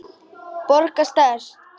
Borga sekt?